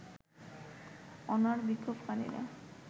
অনড় বিক্ষোভকারীরা